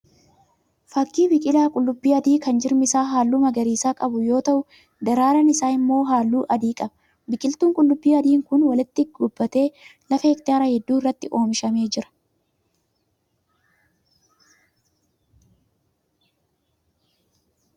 Fakkii biqilaa qullubbii adii kan jirmi isaa halluu magariisa qabu yoo ta'u daraaraan isaa immoo halluu adii qaba. Biqiltuun qullubbiin adiin kun walitti gobbatee lafa hektaara hedduu irratti oomishamee jira.